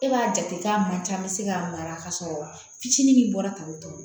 E b'a jate k'a man ca an bɛ se k'a mara ka sɔrɔ fitinin min bɔra ka o